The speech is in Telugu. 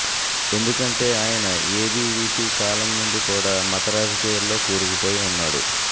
ఎందుకంటే ఆయన ఏబీవీపీ కాలం నుండి కూడా మత రాజకీయాల్లో కూరుకుపోయి ఉన్నాడు